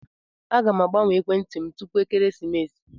Aga m agbanwe ekwentị m tupu ekeresimesi.